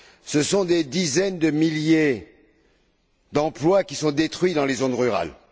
Ce sont des dizaines de milliers d'emplois qui sont détruits dans les zones rurales.